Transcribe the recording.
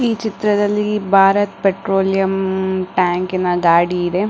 ಈ ಚಿತ್ರದಲ್ಲಿ ಭಾರತ್ ಪೆಟ್ರೋಲಿಯಂ ಕ್ ಟ್ಯಾಂಕ್ ನ ಗಾಡಿ ಇದೆ.